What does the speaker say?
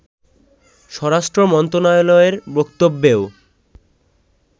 স্বরাষ্ট্র মন্ত্রণালয়ের বক্তব্যেও